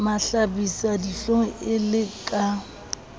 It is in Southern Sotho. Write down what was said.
mahlabisa dihlong e le ka